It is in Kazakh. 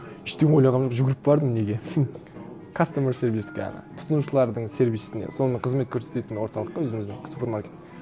ештеңе ойлағаным жоқ жүгіріп бардым неге хм кастомер сервиске ана тұтынушылардың сервисіне соны кызмет көрсететін орталыққа өзіміздің супермаркет